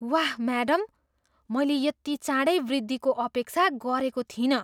वाह, म्याडम! मैले यति चाँडै वृद्धिको अपेक्षा गरेको थिइनँ!